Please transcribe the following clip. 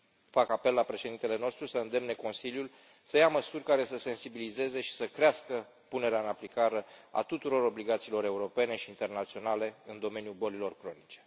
Fac apel la președintele nostru să îndemne Consiliul să ia măsuri care să sensibilizeze publicul și să crească punerea în aplicare a tuturor obligațiilor europene și internaționale în domeniul bolilor cronice.